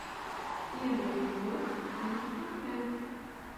первый эпизод кингстон тэк